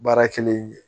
Baara kelen ye